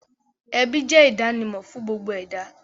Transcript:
Ẹbí jẹ́ ìdánimọ̀ fún gbogbo ẹ̀dá